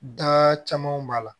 Da camanw b'a la